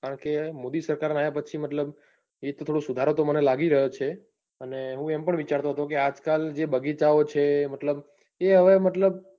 કારણકે મોદી સરકાર આવ્યા પછી થોડો સુધારો તો મને લાગી રહ્યો છે. અને હું એમ પણ વિચારતો હતો કે આજકાલ જે બગીચાઓ છે. મતલબ એ હવે મતલબ,